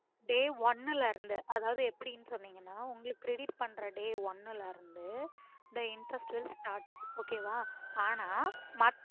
day one ல இருந்து அதாவது எப்புடின்னு சொன்னிங்கன்னா உங்களுக்கு credit பண்ற day one ல இருந்து the interest will startokay வா ஆனா மத்த